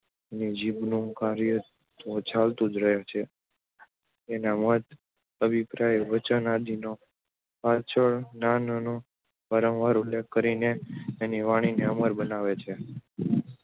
એની જીભનું કાર્ય તો ચાલુ જ રહે છે. એના મત, અભિપ્રાય, વચન આદિનો પાછળનાંઓ વારંવાર ઉલ્લેખ કરીને એની વાણીને અમર બનાવે છે